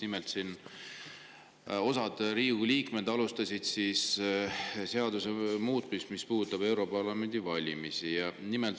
Nimelt, osa Riigikogu liikmeid alustas seaduse muutmist, mis puudutab europarlamendi valimisi.